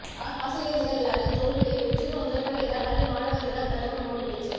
ஆசிரியர் தின விழாவில் தோல்வியே வெற்றிக்கு முதல் படி என பள்ளி மாணவர்களிடம் பிரதமர் மோடி பேச்சு